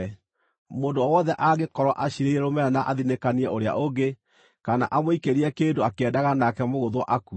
Mũndũ o wothe angĩkorwo aciirĩire rũmena na athinĩkanie ũrĩa ũngĩ, kana amũikĩrie kĩndũ akĩendaga nake mũgũthwo akue,